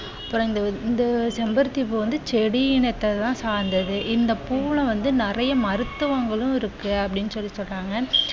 அப்புறம் வந்து இந்த இந்த செம்பருத்தி பூ வந்து செடி இனத்தை தான் சார்ந்தது. இந்த பூவுல வந்து நிறைய மருத்துவங்களும் இருக்கு அப்படின்னு சொல்லி சொல்றாங்க.